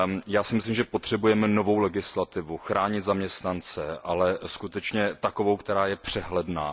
Já si myslím, že potřebujeme novou legislativu o ochraně zaměstnanců, ale skutečně takovou, která je přehledná.